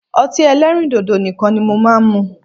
Ọtí ẹlẹ́rìndòdò nìkan ni mo máa ń mu